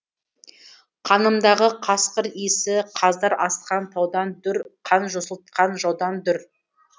қанымдағы қасқыр иісі қаздар асқан таудан дүр қан жосылтқан жаудан дүр